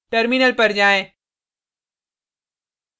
terminal पर जाएँ